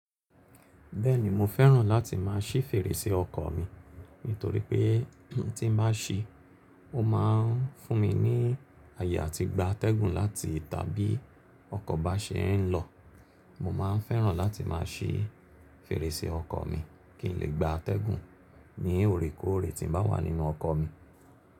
Bẹ́ẹ̀ni mo fẹ́ràn láti má a ṣí fèrèsé ọkọ̀ mi, nítorí pé tí n bá si, ó ma ń fún mi ní àyè àti gba atẹ́gùn láti tàbí ọkọ̀ bá ṣe é lọ. Mo ma n fẹ́ràn láti má a ṣí fèrèsé ọkọ̀ mi kí n lè gba atẹ́gùn ní òrékọ́ọ̀rẹ́ tí n bá wà nínú ọkọ̀ mi.